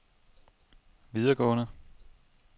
videregående